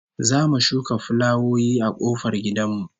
Za mu shuka fulawoyi a kofar gidan mu